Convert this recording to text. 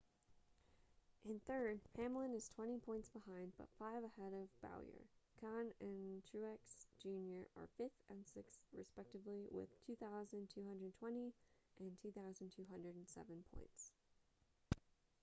in third hamlin is twenty points behind but five ahead of bowyer kahne and truex jr are fifth and sixth respectively with 2,220 and 2,207 points